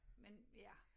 Men ja